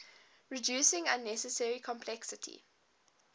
reducing unnecessary complexity